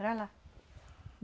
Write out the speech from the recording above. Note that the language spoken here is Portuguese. Era lá.